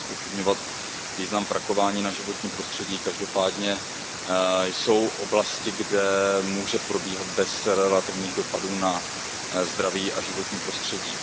Nechci zpochybňovat význam vrakování na životní prostředí, každopádně jsou oblasti, kde může probíhat bez relativních dopadů na zdraví a životní prostředí.